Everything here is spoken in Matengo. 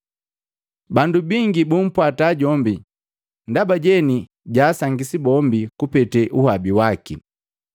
Bandu bingi bumpwata jombi ndaba jeni jaasangisi bombi kupetee uhabi waki.